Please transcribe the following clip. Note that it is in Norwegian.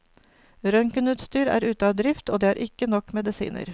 Røntgenutstyr er ute av drift, og det er ikke nok medisiner.